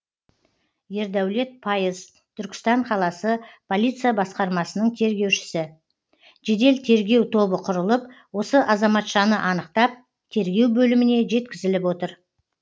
ердәулет пайыз түркістан қаласы полиция басқармасының тергеушісі жедел тергеу тобы құрылып осы азаматшаны анықтап тергеу бөліміне жеткізіліп отыр